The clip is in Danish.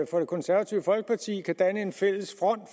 for det konservative folkeparti kan danne en fælles front